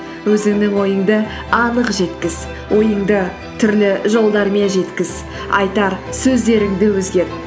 өзіңнің ойыңды анық жеткіз ойыңды түрлі жолдармен жеткіз айтар сөздеріңді өзгерт